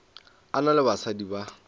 a na le basadi ba